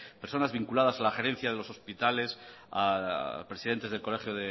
personas vinculadas a la gerencia de los hospitales presidentes del colegio